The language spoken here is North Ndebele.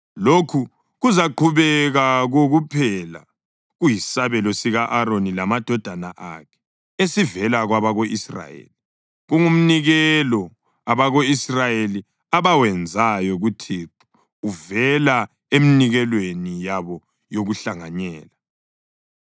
Lokhu kuzaqhubeka kokuphela kuyisabelo sika-Aroni lamadodana akhe esivela kwabako-Israyeli. Kungumnikelo abako-Israyeli abawenzayo kuThixo uvela eminikelweni yabo yokuhlanganyela.